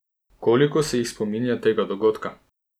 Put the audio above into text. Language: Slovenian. Koliko se jih spominja tega dogodka?